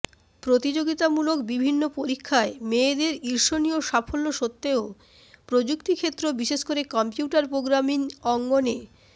প্রতিযোগিতামূলক বিভিন্ন পরীক্ষায় মেয়েদের ঈর্ষণীয় সাফল্য স্বত্তেও প্রযুক্তিক্ষেত্র বিশেষকরে কম্পিউটার প্রোগ্রামিং অঙ্গণে